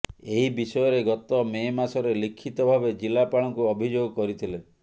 ଏହି ବିଷୟରେ ଗତ ମେ ମାସରେ ଲିଖିତ ଭାବେ ଜିଲ୍ଲାପାଳଙ୍କୁ ଅଭିଯୋଗ କରିଥିଲେ